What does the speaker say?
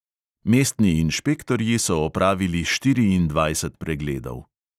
Mestni inšpektorji so opravili štiriindvajset pregledov.